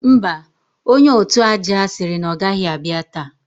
Mba, onye òtụ̀ aja sịrị na ọ o gaghị abịa taa